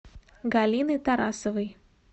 галины тарасовой